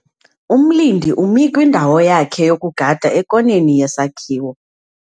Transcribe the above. Umlindi umi kwindawo yakhe yokugada ekoneni yesakhiwo.